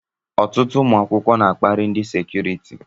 Ọtụtụ ụmụ akwụkwọ n'akpari ndị sekuriti.